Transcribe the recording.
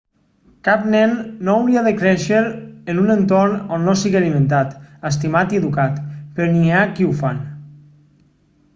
cap nen no hauria de créixer en un entorn on no sigui alimentat estimat i educat però n'hi ha que ho fan